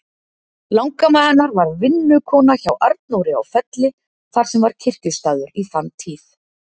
Langamma hennar var vinnukona hjá Arnóri á Felli, þar sem var kirkjustaður í þann tíð.